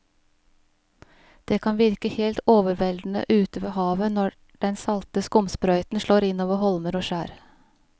Det kan virke helt overveldende ute ved havet når den salte skumsprøyten slår innover holmer og skjær.